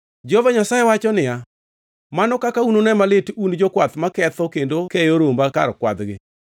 Jehova Nyasaye wacho niya, “Mano kaka unune malit un jokwath maketho kendo keyo romba kar kwadhgi!”